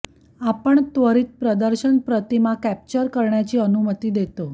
आपण त्वरीत प्रदर्शन प्रतिमा कॅप्चर करण्याची अनुमती देते